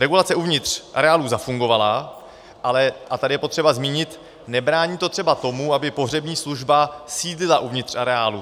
Regulace uvnitř areálů zafungovala, ale, a tady je potřeba zmínit, nebrání to třeba tomu, aby pohřební služba sídlila uvnitř areálu.